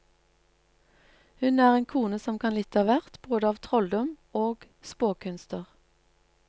Hun er en kone som kan litt av hvert, både av trolldom og spåkunster.